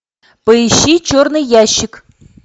поищи черный ящик